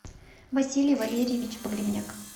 василий валерьевич погребняк